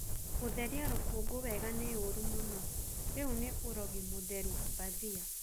gutherĩa rũkungũ wega ni ũũru mũno rĩu ni urogi mutheru bathia